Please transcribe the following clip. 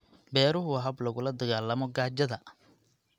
Beeruhu waa hab lagula dagaalamo gaajada.